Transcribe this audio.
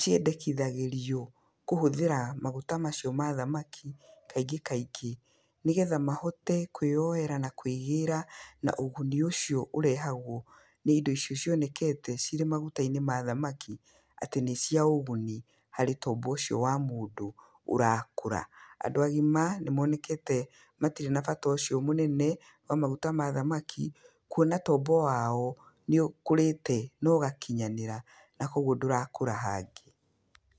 ciendekithagĩrio kũhũthĩra maguta macio mathamaki kaingĩ kaingĩ, nĩgetha mahote kũĩyoera na kũĩgĩra ũguni ũcio ũrehagwo nĩ indo icio cionekete cirĩ maguta-inĩ mathamaki, atĩ nĩ cia ũguni harĩ tombo ũcio wa mũndũ ũrakũra. Andũ agima nĩmonekete matirĩ na bata ũcio mũnene, wa maguta ma thamaki, kwona tombo wao nĩ ũkũrĩte na ũgakinyanĩra, na koguo ndũrakũra hangĩ.